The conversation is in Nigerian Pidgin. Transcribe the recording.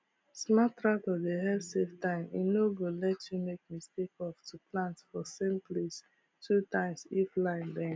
smart tractor dey help save time e no go let you make mistake of to plant for same place two times if line bend